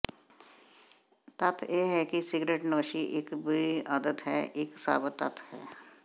ਤੱਥ ਇਹ ਹੈ ਕਿ ਸਿਗਰਟਨੋਸ਼ੀ ਇਕ ਬੁਰੀ ਆਦਤ ਹੈ ਇੱਕ ਸਾਬਤ ਤੱਥ ਹੈ